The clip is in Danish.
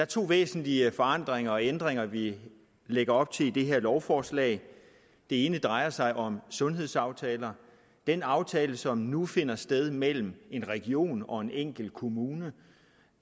to væsentlige forandringer og ændringer vi lægger op til i det her lovforslag det ene drejer sig om sundhedsaftaler den aftale som nu finder sted mellem en region og en enkelt kommune